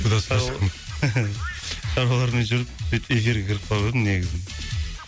туда сюда шаруалармен жүріп сөйтіп эфирға кіріп қалып едім негізі